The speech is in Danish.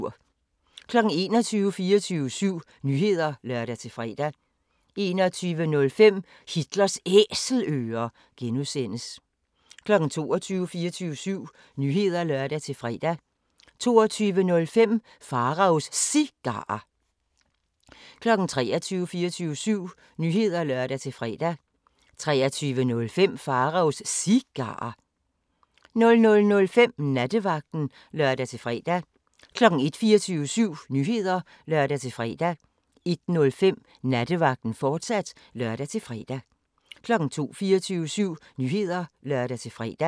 21:00: 24syv Nyheder (lør-fre) 21:05: Hitlers Æselører (G) 22:00: 24syv Nyheder (lør-fre) 22:05: Pharaos Cigarer 23:00: 24syv Nyheder (lør-fre) 23:05: Pharaos Cigarer 00:05: Nattevagten (lør-fre) 01:00: 24syv Nyheder (lør-fre) 01:05: Nattevagten, fortsat (lør-fre) 02:00: 24syv Nyheder (lør-fre)